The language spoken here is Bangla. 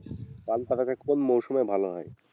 পান পাতা টা কোন মরশুমে ভালো হয়?